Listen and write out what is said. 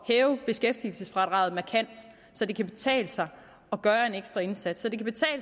hæve beskæftigelsesfradraget markant så det kan betale sig at gøre en ekstra indsats